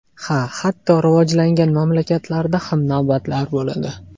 Ha, hatto rivojlangan mamlakatlarda ham navbatlar bo‘ladi.